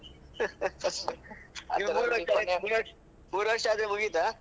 ಮೂರ್ ವರ್ಷ ಆದ್ರೆ ಮುಗಿತ?